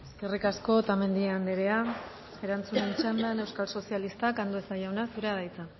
eskerrik asko otamendi anderea erantzunen txandan euskal sozialistak andueza jauna zurea da hitza